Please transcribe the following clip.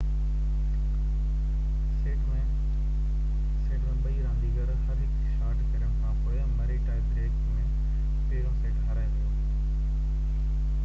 set ۾ ٻني رانديگرن هر هڪ شاٽ کيڏڻ کانپوءِ مري ٽائي بريڪ ۾ پهريون سيٽ هارائي ويو